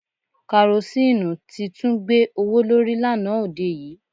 Karosíìnù ti tún gbé owó lórí lánàá òde yìí